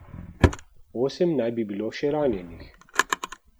Osem naj bi bilo še ranjenih.